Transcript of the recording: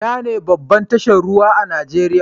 Inane babbar tashar ruwa a Nijeriya?